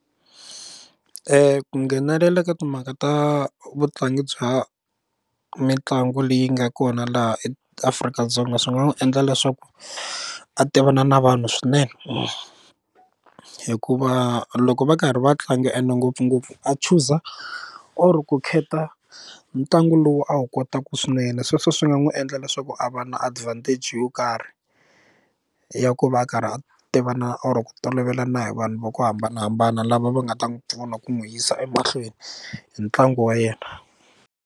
ku nghenelela ka timhaka ta vutlangi bya mitlangu leyi nga kona laha eAfrika-Dzonga swi nga n'wi endla leswaku a tivana na vanhu swinene hikuva loko va karhi va tlanga ende ngopfungopfu a chuza or ku khetha ntlangu lowu a wu kotaka swinene sweswo swi nga n'wi endla leswaku a va na advantage yo karhi ya ku va a karhi a tiva na or ku tolovelana hi vanhu va ku hambanahambana lava va nga ta n'wi pfuna ku n'wi yisa emahlweni hi ntlangu wa yena.